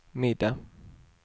middag